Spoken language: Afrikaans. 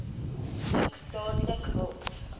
soek dadelik hulp